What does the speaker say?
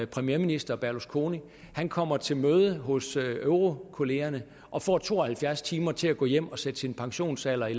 premierminister berlusconi nu kommer til møde hos eurokollegaerne og får to og halvfjerds timer til at gå hjem og sætte pensionsalderen i